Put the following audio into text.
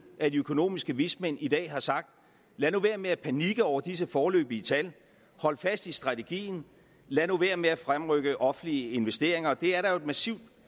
at de økonomiske vismænd i dag har sagt lad nu være med at panikke over disse foreløbige tal hold fast i strategien lad nu være med at fremrykke offentlige investeringer det er der jo et massivt